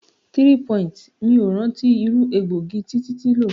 3. Mi o rántí irú egbògi tí títí lò.